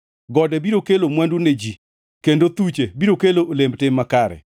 Gode biro kelo mwandu ne ji, kendo thuche biro kelo olemb tim makare.